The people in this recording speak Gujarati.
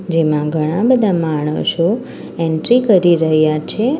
જેમા ઘણા બધા માણસો એન્ટ્રી કરી રહ્યા છે.